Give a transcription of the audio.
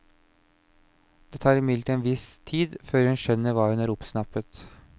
Det tar imidlertid en viss tid før hun skjønner hva hun har oppsnappet.